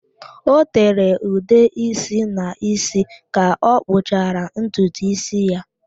O tere ude ísí n'ísí ka ọ kpụchara ntutu ísí ya.